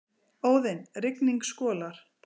Óðinn: Rigning skolar.